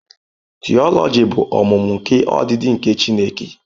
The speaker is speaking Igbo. Theology bụ ọmụmụ nke ọdịdị nke Chineke.